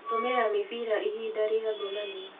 Gũtũmĩra mĩbira ihinda rĩa ngomanio